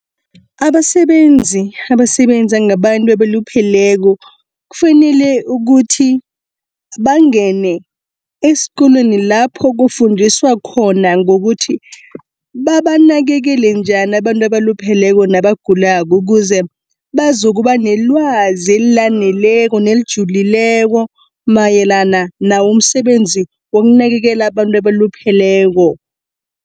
Abasebenzi, abasebenza ngabantu abalupheleko kufanele ukuthi bangene eskolweni lapho kufundiswa khona ngokuthi, babanakekela njani abantu abalupheleko nabagulako. Ukuze bazokuba nelwazi elaneleko nelijulileko mayelana nawumsebenzi wokunakekela abantu abalupheleko.